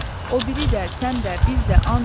O biri də, sən də, biz də and içdik.